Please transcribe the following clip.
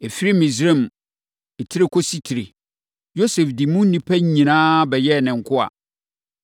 Ɛfiri Misraim tire kɔsi tire, Yosef de mu nnipa nyinaa bɛyɛɛ ne nkoa.